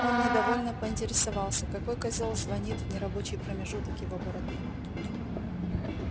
он недовольно поинтересовался какой козел звонит в нерабочий промежуток его бороды